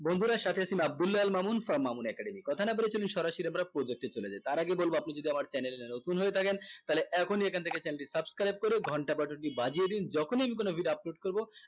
বন্ধুরা সাথে আছি আমি আব্দুলাল মামুন from মামুন academy কথা না বলে চলি সরাসরি আমরা প্রদোতে চলে যাই তার আগে বলবো আপনারা যদি আমার channel এ নতুন হয়ে থাকেন তাহলে এখনি এখান থেকে channel টি subscribe করে ঘন্টা budget টি বাজিয়ে দিন যখন আমি কোন video করব